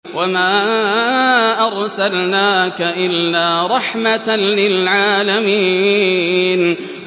وَمَا أَرْسَلْنَاكَ إِلَّا رَحْمَةً لِّلْعَالَمِينَ